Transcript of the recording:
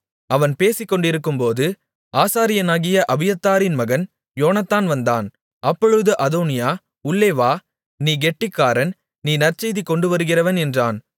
அவன் பேசிக்கொண்டிருக்கும்போது ஆசாரியனாகிய அபியத்தாரின் மகன் யோனத்தான் வந்தான் அப்பொழுது அதோனியா உள்ளே வா நீ கெட்டிக்காரன் நீ நற்செய்தி கொண்டுவருகிறவன் என்றான்